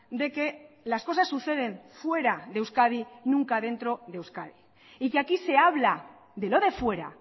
de que las cosas suceden fuera de euskadi nunca dentro de euskadi y que aquí se habla de lo de fuera